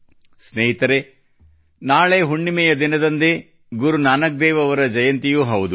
ಸ್ನೇಹಿತರೇ ನಾಳೆ ಹುಣ್ಣಿಮೆಯ ದಿನದಂದೇ ಗುರು ನಾನಕ್ ದೇವ್ ಅವರ ಜಯಂತಿಯೂ ಹೌದು